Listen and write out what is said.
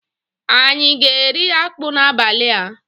Anyi aga eri akpu n'abali a?